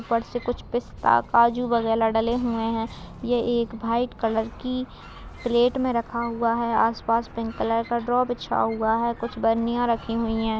ऊपर से कुछ पिस्ता-काजू डले हुए हैं| ये एक व्हाइट कलर की प्लेट में रखा हुआ है आस-पास पिंक कलर का बिछा हुआ है कुछ बर्निया रखी हुई हैं।